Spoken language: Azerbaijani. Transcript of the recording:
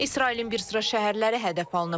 İsrailin bir sıra şəhərləri hədəf alınıb.